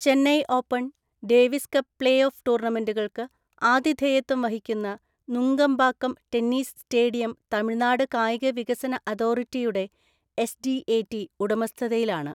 Chennai open, Davis cup play off ടൂർണമെന്റുകൾക്ക് ആതിഥേയത്വം വഹിക്കുന്ന നുങ്കമ്പാക്കം ടെന്നീസ് സ്റ്റേഡിയം തമിഴ്‌നാട് കായിക വികസന അതോറിടിയുടെ (എസ് ഡി എ ടി) ഉടമസ്ഥതയിലാണ്.